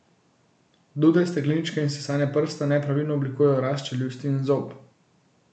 Dude, stekleničke in sesanje prsta nepravilno oblikujejo rast čeljusti in zob.